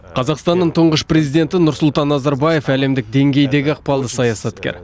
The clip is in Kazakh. қазақстанның тұңғыш президенті нұрсұлтан назарбаев әлемдік деңгейдегі ықпалды саясаткер